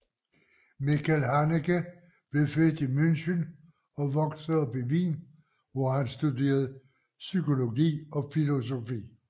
Michael Haneke blev født i München og voksede op i Wien hvor han studerede psykologi og filosofi